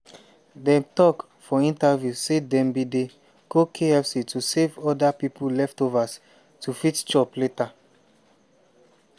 dem tok for interviews say dem bin dey go kfc to save oda pipo leftovers to fit chop later.